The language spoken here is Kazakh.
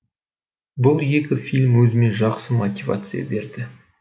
бұл екі фильм өзіме жақсы мотивация берді